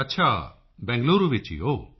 ਅੱਛਾ ਬੰਗਲੁਰੂ ਵਿੱਚ ਹੀ ਹੋ